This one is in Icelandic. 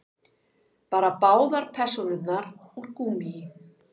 Bara báðar persónurnar úr gúmmíi.